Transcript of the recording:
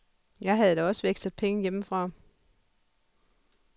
Jeg havde da også vekslet penge hjemmefra.